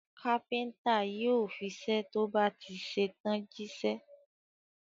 Kápẹ́ńtà yóò fiṣẹ́ tó bá ti ṣe tán jíṣẹ́.